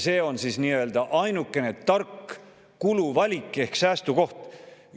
See on siis nii-öelda ainuke tark kuluvalik ehk säästukoht.